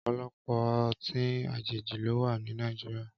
Ọpọlọpọ ọtin àjéji ló wà ni Nàijiriá